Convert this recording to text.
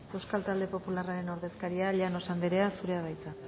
euskal talde popularraren ordezkaria llanos anderea zurea da hitza